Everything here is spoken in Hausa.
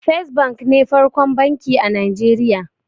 First bank ne farkon banki a Nijeriya